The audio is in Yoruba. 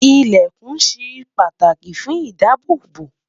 ilẹkùn shey pàtàkì fún idaabobo